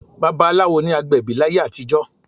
Babaláwo ni agbẹ̀bí láyé àtijọ́